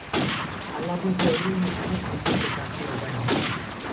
aládé jẹ olóye tó wà nípò kẹta sí ọba ìlú náà